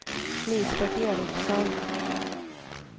Lisbeth Ericson